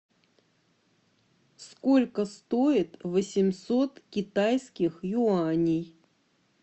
сколько стоит восемьсот китайских юаней